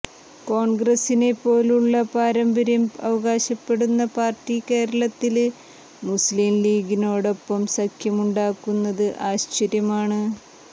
കോണ്ഗ്രസിനെപ്പോലുള്ള പാരമ്പര്യം അവകാശപ്പെടുന്ന പാര്ട്ടി കേരളത്തില് മുസ്ലിം ലീഗിനോടൊപ്പം സഖ്യമുണ്ടാക്കുന്നത് ആശ്ചര്യമാണ്